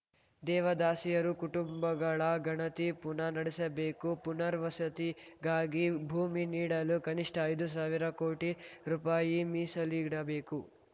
ದೇವದಾಸಿಯರು ಕುಟುಂಬಗಳ ಗಣತಿ ಪುನಾ ನಡೆಸಬೇಕು ಪುನರ್ವಸತಿಗಾಗಿ ಭೂಮಿ ನೀಡಲು ಕನಿಷ್ಠ ಐದು ಸಾವಿರ ಕೋಟಿ ರುಪಾಯಿ ಮೀಸಲಿಡಬೇಕು